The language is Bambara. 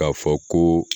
K'a fɔ ko